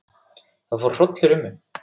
Það fór hrollur um mig.